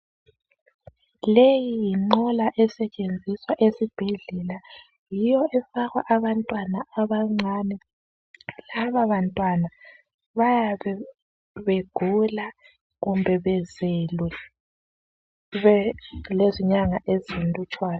Leyi yinqola esetshenziswa esibhedlela yiyo efakwa abantwana abancane lababantwana bayabe begula kumbe bezelwe bayabe belenyanga ezilutshwane